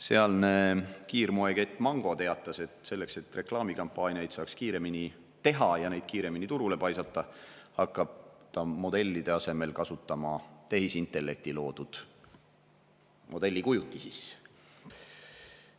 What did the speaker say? Sealne kiirmoekett Mango teatas, et selleks, et reklaamikampaaniaid saaks kiiremini teha ja kiiremini turule paisata, hakkab ta modellide asemel kasutama tehisintellekti loodud modellikujutisi.